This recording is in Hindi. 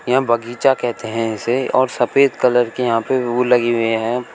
यह बगीचा कहते हैं इसे और सफेद कलर के यहां पर वो लगे हुए हैं।